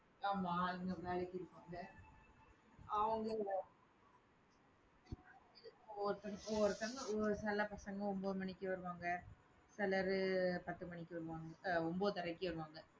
ஆமா. ஆளுங்க வேலைக்கு இருக்காங்க அவங்களே ஒவ்வொருத்த~ ஒவ்வொருத்தங்க ஒவ்வொரு சில பசங்க ஒன்பது மணிக்கு வருவாங்க. சிலர் பத்து மணிக்கு வருவாங்க. அஹ் ஒன்பதரைக்கு வருவாங்க.